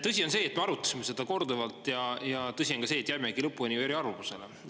Tõsi on see, et me arutasime seda korduvalt, ja tõsi on ka see, et jäimegi lõpuni eri arvamusele.